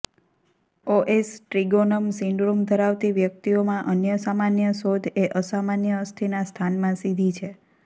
OS ટ્રિગોનમ syndrome ધરાવતી વ્યક્તિઓમાં અન્ય સામાન્ય શોધ એ અસામાન્ય અસ્થિના સ્થાનમાં સીધી છે